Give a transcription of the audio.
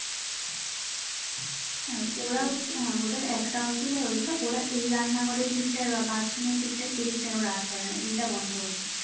আর ওরা হ্যাঁ ওদের একটা অসুবিধা হয়েছে ওরা এই রান্নাঘরের দিকটায় বা bathroom এর দিকটায় এদিকটায় ওরা আসতে পারবে না এইটা বন্ধ হয়েছে